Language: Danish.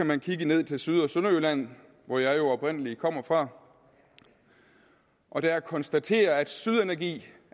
man kigge ned til syd og sønderjylland hvor jeg jo oprindelig kommer fra og der konstatere at syd energi